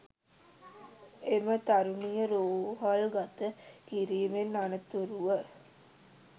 එම තරුණිය රෝහල්ගත කිරිමෙන් අනතුරුව